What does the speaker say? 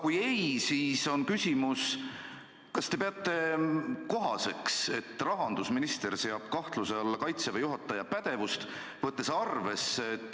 Kui ei, siis on küsimus: kas te peate kohaseks, et rahandusminister seab kahtluse alla Kaitseväe juhataja pädevuse?